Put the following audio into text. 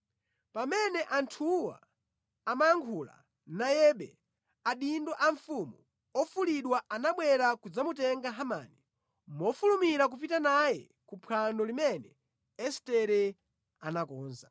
Pamene anthuwa amayankhula nayebe, adindo a mfumu ofulidwa anabwera kudzamutenga Hamani mofulumira kupita naye ku phwando limene Estere anakonza.